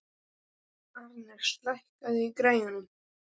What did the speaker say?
Arnes, lækkaðu í græjunum.